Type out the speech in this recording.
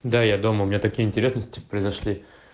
да я дома у меня такие интересности произошли